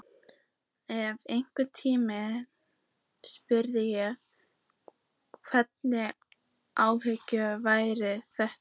En einhvern tímann spurði ég: Hvaða hávaði var þetta?